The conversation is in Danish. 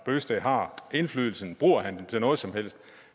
bøgsted har indflydelsen bruger han den til noget som helst